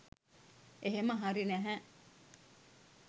එහෙම හරි නැහැ